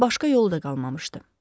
Amma başqa yolu da qalmamışdı.